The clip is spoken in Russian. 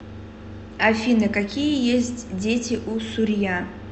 афина какие есть дети у сурья